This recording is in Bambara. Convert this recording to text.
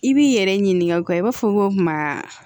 I b'i yɛrɛ ɲininka o kan i b'a fɔ ko kuma